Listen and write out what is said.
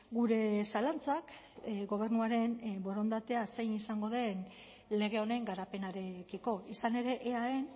gure zalantzak gobernuaren borondatea zein izango den lege honen garapenarekiko izan ere eaen